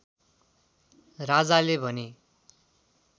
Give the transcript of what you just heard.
राजाले भने